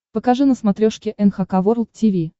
покажи на смотрешке эн эйч кей волд ти ви